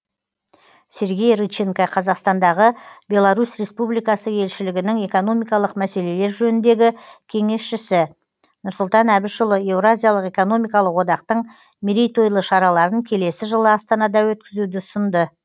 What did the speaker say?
сергей рыченко қазақстандағы беларусь республикасы елшілігінің экономикалық мәселелер жөніндегі кеңесшісі нұрсұлтан әбішұлы еуразиялық экономикалық одақтың мерейтойлы шараларын келесі жылы астанада өткізуді ұсынды